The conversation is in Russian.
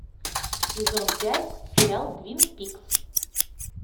сезон пять сериал твин пикс